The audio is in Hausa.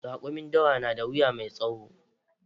Raƙumin dawa na da wuya mai tsawo